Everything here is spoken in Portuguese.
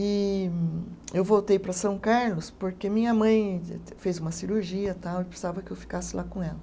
E eu voltei para São Carlos porque minha mãe fez uma cirurgia tal, e precisava que eu ficasse lá com ela.